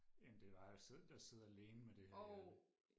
end det var og sidde der sidde alene med det her